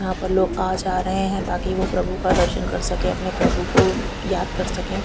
यहां पर लोग आ जा रहे हैं ताकि वह प्रभु का दर्शन कर सके अपने प्रभु को याद कर सके।